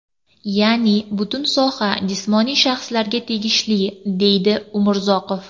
Ya’ni butun soha jismoniy shaxslarga tegishli”, deydi Umurzoqov.